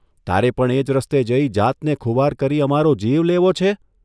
તારે પણ એ રસ્તે જઇ જાતને ખુવાર કરી અમારો જીવ લેવો છે?